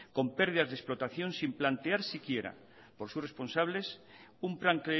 con pérdidas de explotación sin plantear si quiera por sus responsables un plan